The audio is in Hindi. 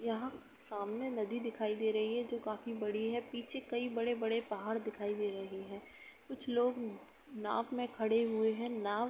यहां सामने नदी दिखाई दे रही है जो काफ़ी बडी है पीछे कई बड़े बड़े पहाड़ दिखाई दे रहे हैं | कुछ लोग नाव मे खड़े हुऐ हैं नाव --